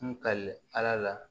N ka ala la